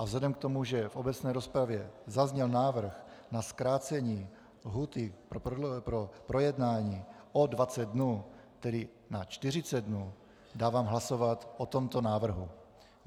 A vzhledem k tomu, že v obecné rozpravě zazněl návrh na zkrácení lhůty k projednání o 20 dnů, tedy na 40 dnů, dávám hlasovat o tomto návrhu.